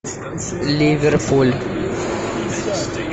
ливерпуль